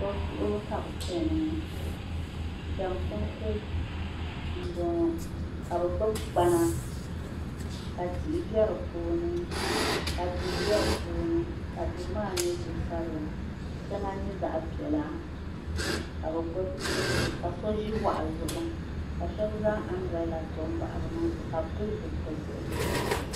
tubu tuhibu ka be chɛni ŋɔ janikunitɛ n bɔŋɔ ka be gbabi kpana ka tihi bɛ di puuni ka dori bɛ di puuni ka dori 'as nyɛ dorisabila ka shɛŋa nyɛ zaɣ piɛlla ka so ʒɛ waɣizu ka so zaŋ anbirila bahi